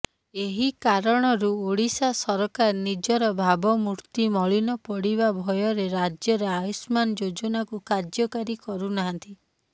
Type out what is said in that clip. ଏହି କାରଣରୁ ଓଡ଼ିଶା ସରକାର ନିଜର ଭାବମୂର୍ତ୍ତି ମଳିନ ପଡ଼ିବା ଭୟରେ ରାଜ୍ୟରେ ଆୟୁଷ୍ମାନ ଯୋଜନାକୁ କାର୍ଯ୍ୟକାରୀ କରୁନାହାନ୍ତି